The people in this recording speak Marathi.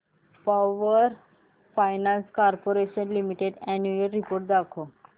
power finance corporation limited annual report दाखव